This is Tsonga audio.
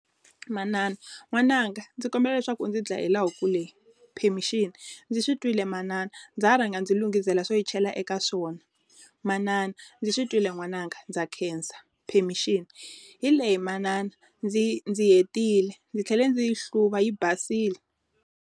Manana. N'wananga ndzi kombela leswaku ndzi dlayela huku leyi. Permission. Ndzi swi twile manana, ndza ha rhanga ndzi lungisela swo yi chela eka swona. Manana. Ndzi twile n'wananga ndza khensa. Permission. Hi leyi manana ndzi ndzi hetile. ndzi tlhele ndzi yi hluva, yi basile.